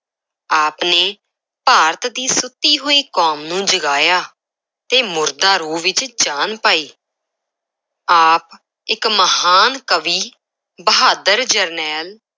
ਆਪ ਨੇ ਭਾਰਤ ਦੀ ਸੁੱਤੀ ਹੋਈ ਕੌਮ ਨੂੰ ਜਗਾਇਆ ਤੇ ਮੁਰਦਾ ਰੂਹ ਵਿੱਚ ਜਾਨ ਪਾਈ ਆਪ ਇੱਕ ਮਹਾਨ ਕਵੀ, ਬਹਾਦਰ ਜਰਨੈਲ,